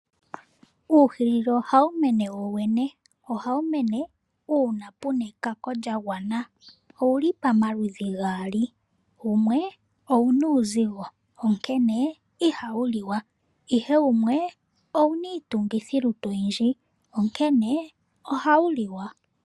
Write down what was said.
Uuhilili ohawu mene wowene. Ohawu mene uuna pu na ekako lya gwana. Owu li pamaludhi gaali, wumwe owu na uuzigo, onkene ihawu liwa, ihe wumwe owu na iitungithilutu oyindji, onkene ohawu liwa.